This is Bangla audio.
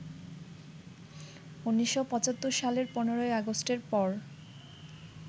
১৯৭৫ সালের ১৫ই আগষ্টের পর